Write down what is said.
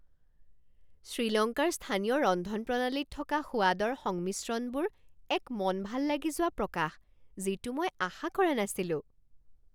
শ্ৰীলংকাৰ স্থানীয় ৰন্ধনপ্ৰণালীত থকা সোৱাদৰ সংমিশ্ৰণবোৰ এক মন ভাল লাগি যোৱা প্ৰকাশ যিটো মই আশা কৰা নাছিলোঁ।